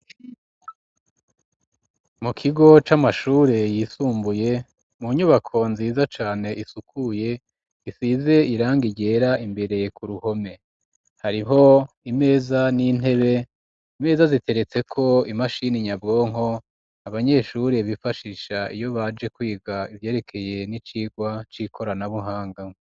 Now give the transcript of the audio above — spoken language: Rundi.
Mu kigo c'amashure yisumbuye mu nyubako nziza cane isukuye isize irangi ryera imbere ku ruhome hariho imeza n'intebe imeza ziteretseko imashini nyabwonko abanyeshure bifashisha iyo baje kwiga ivyerekeye n'icigwa c'ikoranabuhanga.